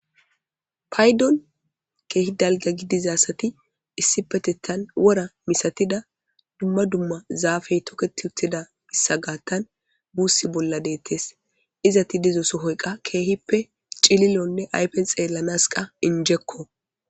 paydon keehi dalga gidizasati issi petettan wora misatida dumma dumma zaafey toketi uttida issa gaattan buussi bolla deettes izati dizoso hoyqa keehippe cililonne aypen xeellanas qa injekko